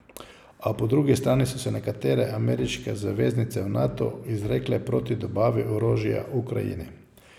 A po drugi strani so se nekatere ameriške zaveznice v Natu izrekle proti dobavi orožja Ukrajini.